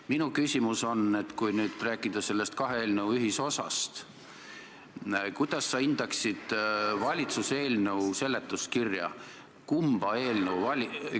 Minu küsimus on: kui rääkida kahe eelnõu ühisosast, kuidas sa hindaksid valitsuse eelnõu seletuskirja?